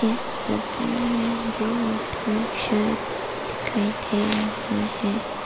इस तस्वीर में दो ऑटो रिक्शा दिखाई दे रहा है।